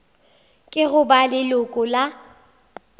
ke go ba leloko la